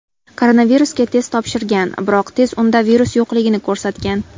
Koronavirusga test topshirgan, biroq test unda virus yo‘qligini ko‘rsatgan.